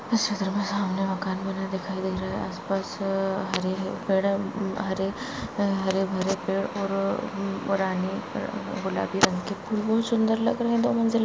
सामने मकान बने दिखाई दे रहा है। आसपास अ हरे पेड़ हरे अ हरे भरे पेड़ और पुराने गुलाबी रंग के फूल बहुत सुंदर लग रहे है। दो मंजिला --